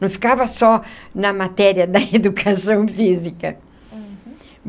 Não ficava só na matéria da educação física. Uhum.